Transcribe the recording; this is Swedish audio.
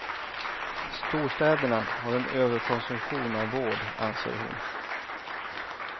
Storstäderna har en överkonsumtion av vård, anser hon.